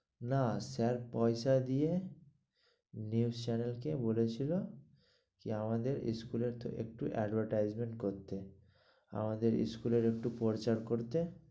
না স্যার পয়সা দিয়ে news channel কে বলেছিল, যে আমাদের স্কুল একটু~ একটু advertisement করতে, আমাদের স্কুল এ একটু পর্চা করতে।